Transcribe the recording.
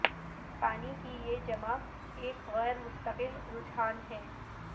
پانی کی یہ جمع ایک غیر مستقل رجحان ہے